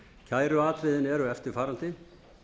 kæruatriðin eru eftirfarandi